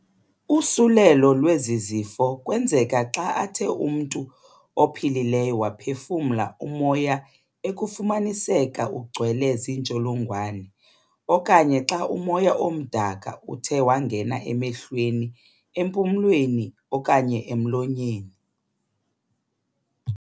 Usulelo lwezi zifo kwenzeka xa athe umntu ophilileyo waphefumla umoya ekufumaniseka ugcwele ziintsholongwane, okanye xa umoya omdaka uthe wangena emehlweni, empumlweni, okanye emlonyeni.